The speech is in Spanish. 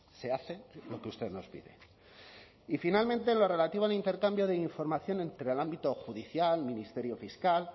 se hace lo que usted nos pide y finalmente en lo relativo al intercambio de información entre el ámbito judicial ministerio fiscal